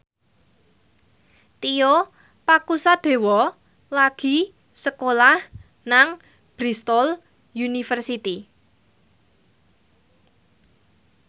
Tio Pakusadewo lagi sekolah nang Bristol university